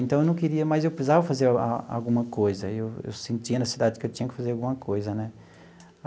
Então, eu não queria mas eu precisava fazer a alguma coisa, eu eu sentia necessidade que eu tinha que fazer alguma coisa, né?